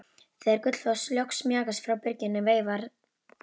Þegar Gullfoss loks mjakaðist frá bryggjunni veifaði